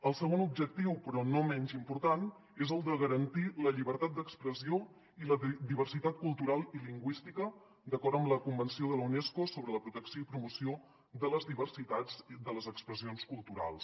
el segon objectiu però no menys important és el de garantir la llibertat d’ex·pressió i la diversitat cultural i lingüística d’acord amb la convenció de la unes·co sobre la protecció i promoció de les diversitats de les expressions culturals